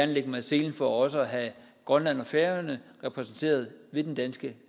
lægge mig i selen for også at have grønland og færøerne repræsenteret i den danske